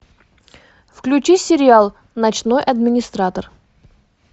включи сериал ночной администратор